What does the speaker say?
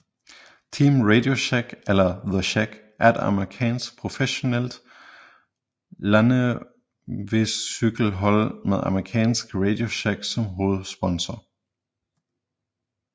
Team RadioShack eller The Shack er et amerikansk professionelt landevejscykelhold med amerikanske RadioShack som hovedsponsor